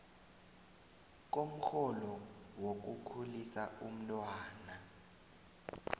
komrholo wokukhulisa umntwana